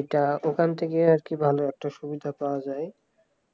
এটা ওখান থেকে আর কি ভালো একটা সুবিধা পাওয়া যায়